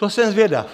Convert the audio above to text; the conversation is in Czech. To jsem zvědav.